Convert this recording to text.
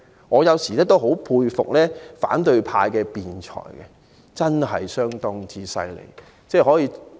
我有時也很佩服反對派的辯才，相當了不起。